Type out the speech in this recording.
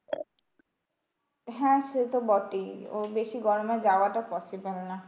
হ্যাঁ সেতো বটেই, ও বেশি গরমে যাওয়াটা possible না।